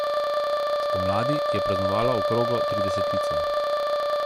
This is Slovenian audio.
Spomladi je praznovala okroglo tridesetico.